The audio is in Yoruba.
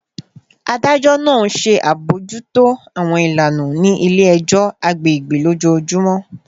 Adajọ naa nṣe abojuto awọn ilana ni ile-ẹjọ agbegbe lojoojumọ